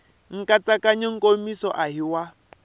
nkatsakanyo nkomiso a hi wa